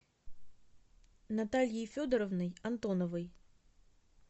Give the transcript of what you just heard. натальей федоровной антоновой